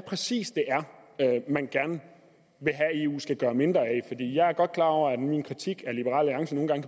præcis er man gerne vil have eu skal gøre mindre af jeg er godt klar over at min kritik af